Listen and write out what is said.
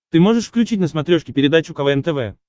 ты можешь включить на смотрешке передачу квн тв